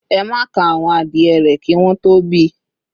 "Ema ka awon adie re ki won to bi,"